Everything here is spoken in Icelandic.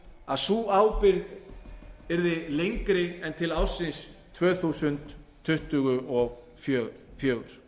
að sú ábyrgð yrði lengri en til ársins tvö þúsund tuttugu og fjögur